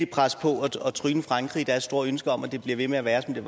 presse på og tryne frankrig i deres store ønske om at det bliver ved med at være som det